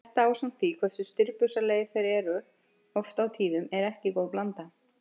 Þetta ásamt því hversu stirðbusalegir þeir eru oft á tíðum er ekki góð blanda.